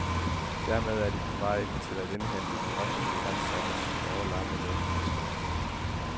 Dermed er de på vej til at indhente de offentligt ansattes årelange lønforspring.